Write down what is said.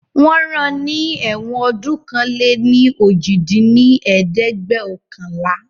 wọ́n rán ní ẹ̀wọ̀n ọdún ọ̀kan-lé-ní-ojì dín ní ẹ̀ẹ́dẹ́gbẹ́ọ̀kànlá